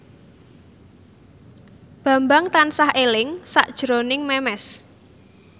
Bambang tansah eling sakjroning Memes